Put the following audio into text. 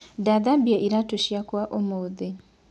Ndathambia iraatũ ciakwa ũmũthĩ .